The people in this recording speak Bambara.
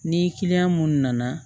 Ni kiliyan minnu nana